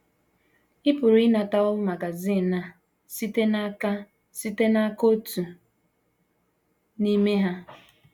Ị pụrụ ịnatawo magazin a site n’aka site n’aka otu n’ime ha.